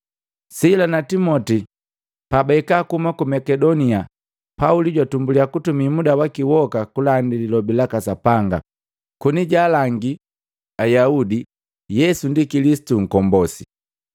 Sila na Timoti pabahika kuhuma ku Makedonia, Pauli jwatumbulia kutumi muda waki woka kulandi Lilobi laka Sapanga, koni jaalangi Ayaudi Yesu ndi Kilisitu Nkombosi.